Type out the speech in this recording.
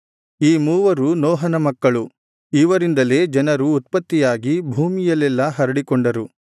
ಈ ಮೂವರು ನೋಹನ ಮಕ್ಕಳು ಇವರಿಂದಲೇ ಜನರು ಉತ್ಪತ್ತಿಯಾಗಿ ಭೂಮಿಯಲ್ಲೆಲ್ಲಾ ಹರಡಿಕೊಂಡರು